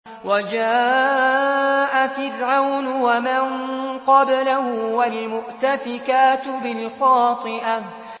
وَجَاءَ فِرْعَوْنُ وَمَن قَبْلَهُ وَالْمُؤْتَفِكَاتُ بِالْخَاطِئَةِ